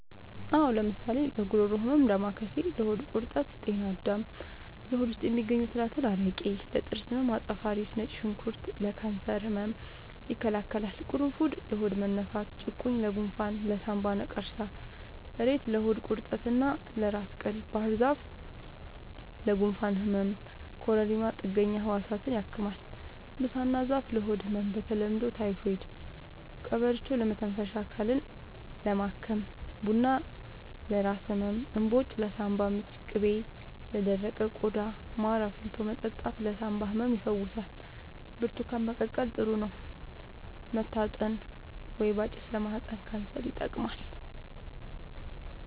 አዎ ለምሳሌ ለጉሮሮ ህመም ዳማከሴ ለሆድ ቁርጠት ጤና አዳም ለሆድ ውስጥ የሚገኙ ትላትል አረቄ ለጥርስ ህመም አፄ ፋሪስ ነጭ ሽንኩርት ለካንሰር ህመም ይከላከላል ቁሩፉድ ለሆድ መነፋት ጭቁኝ ለጎንፋን ለሳንባ ነቀርሳ እሬት ለሆድ ቁርጠት እና ለራስ ቅል ባህርዛፍ ለጉንፋን ህመም ኮረሪማ ጥገኛ ህዋሳትን ያክማል ብሳና ዛፍ ለሆድ ህመም በተለምዶ ታይፎድ ቀበርቿ ለመተንፈሻ አካልን ለማከም ቡና ለራስ ህመም እንባጮ ለሳንባ ምች ቅቤ ለደረቀ ቆዳ ማር አፍልቶ መጠጣት ለሳንባ ህመም ይፈውሳል ብርቱካን መቀቀል ጥሩ ነው መታጠን ወይባ ጭስ ለማህፀን ካንሰር ይጠቅማል